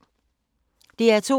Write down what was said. DR P2